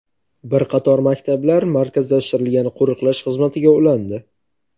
Bir qator maktablar markazlashtirilgan qo‘riqlash xizmatiga ulandi.